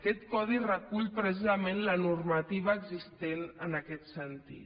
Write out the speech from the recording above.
aquest codi recull precisament la normativa existent en aquest sentit